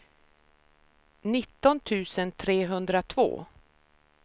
nitton tusen trehundratvå